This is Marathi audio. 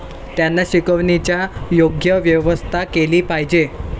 त्यांना शिकविण्याची योग्य व्यवस्था केली पाहिजे.